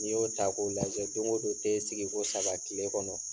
N'i y'o ta k'o lajɛ don go don te sigi ko saba kile kɔnɔ